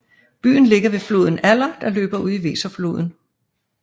Byen ligger ved floden Aller der løber ud i Weserfloden